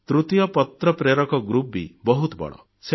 ତୃତୀୟ ପତ୍ର ପ୍ରେରକଙ୍କ ଗ୍ରୁପ ବି ବହୁତ ବଡ଼